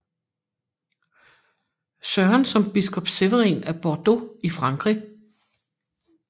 Søren som biskop Severin af Bordeaux i Frankrig